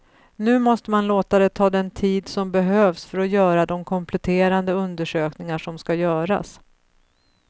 Nu måste man låta det ta den tid som behövs för att göra de kompletterande undersökningar som ska göras.